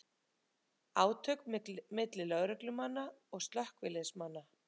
Átök milli lögreglu og slökkviliðsmanna